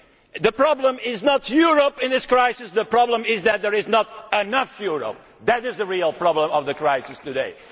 The problem is not Europe in this crisis, the problem is that there is not enough Europe that is the real problem of the crisis today.